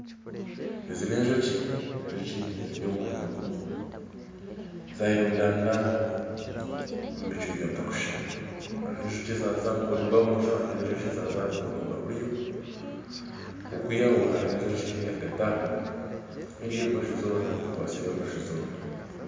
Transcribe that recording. Ezi n'enjoki enjoki ziri omu mwanya gumwe zayerundanira omu bicweka bitarukushushana hariho enjoki ezaza ahamukono gwa bumosho hariho enjoki ezaza ahamukono gwa buryo okwihaho hariho enjoki eri ahagati aho eri embaju zoona ekwatsire embaju zoona.